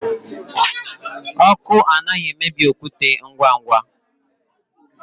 Ọkụ anaghị emebi okwute ngwa ngwa.